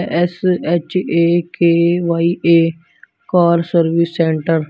S H A K Y A car service centre.